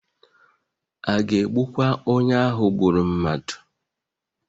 A ga-egbukwa onye ahụ gburu mmadụ?